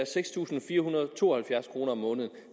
seks tusind fire hundrede og to og halvfjerds kroner om måneden